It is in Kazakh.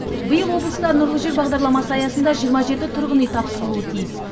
биыл облыста нұрлы жер бағдарламасы аясында жиырма жеті тұрғын үй тапсырылуы тиіс